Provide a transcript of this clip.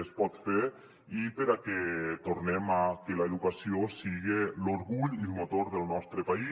es pot fer i perquè tornem a que l’educació siga l’orgull i el motor del nostre país